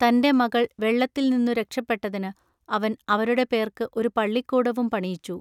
തന്റെ മകൾ വെള്ളത്തിൽനിന്നു രക്ഷപെട്ടതിനു അവൻ അവരുടെ പേൎക്കു ഒരു പള്ളിക്കൂടവും പണിയിച്ചു.